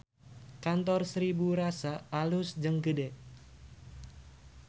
Kantor Seribu Rasa alus jeung gede